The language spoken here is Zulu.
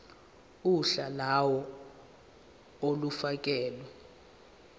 uhla lawo olufakelwe